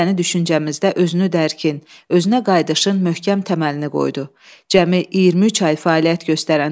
Xalq Cümhuriyyəti böyük ictimai-siyasi hadisə kimi vətənimizin sonrakı taleyinə, gələcək inkişafına əhəmiyyətli təsir göstərib.